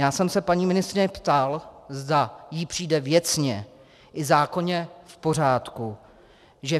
Já jsem se paní ministryně ptal, zda jí přijde věcně i zákonně v pořádku, že